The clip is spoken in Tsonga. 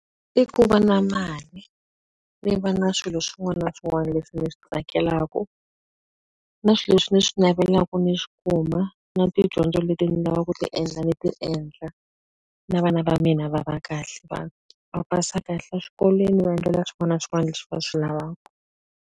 I ku va na mali, ni va na swilo swin'wana na swin'wana leswi ndzi swi tsakelaka. Na swilo leswi ndzi swi navelaka ni swi kuma, na tidyondzo leti ni lavaka ku ti endla ndzi ti endla. Na vana va mina va va kahle, va va pasa kahle exikolweni ni va endlela swin'wana na swin'wana leswi va swi lavaka.